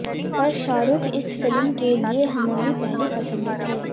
पर शाहरुख इस फिल्म के लिए हमारी पहली पसंद थे